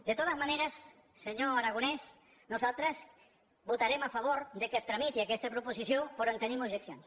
de totes maneres senyor aragonès nosaltres votarem a favor que es tramiti aquesta proposició però hi tenim objeccions